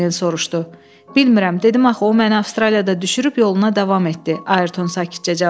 Bilmirəm, dedim axı o məni Avstraliyada düşürüb yoluna davam etdi, Ayerton sakitcə cavab verdi.